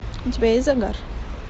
у тебя есть загар